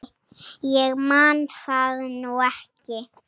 Ég man það nú ekki.